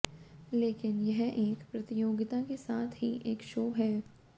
लेकिन यह एक प्रतियोगिता के साथ ही एक शो है